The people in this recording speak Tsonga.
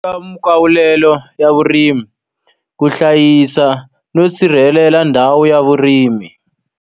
ya vurimi, ku hlayisa no sirhelela ndhawu ya vurimi.